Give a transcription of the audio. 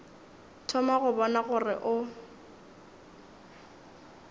thoma go bona gore o